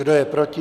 Kdo je proti?